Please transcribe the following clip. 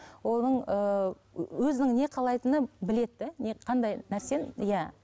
оның ыыы өзінің не қалайтыны біледі де не қандай нәрсенің иә